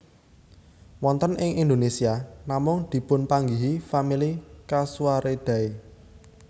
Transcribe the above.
Wonten ing Indonésia namung dipunpanggihi famili casuaridae